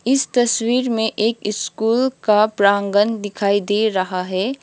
इस तस्वीर मे एक स्कूल का प्रागंण दिखाई दे रहा है।